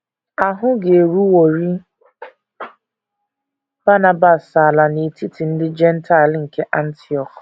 Ahụ ga - eruworị Banabas ala n’etiti ndị Jentaịl nke Antiọk.